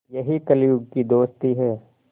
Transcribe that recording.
यही कलियुग की दोस्ती है